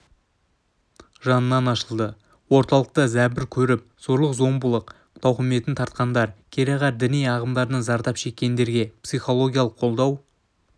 жанынан ашылды орталықта зәбір көріп зорлық-зомбылық тауқыметін тартқандар кереғар діни ағымдардан зардап шеккендерге психологиялық қолдау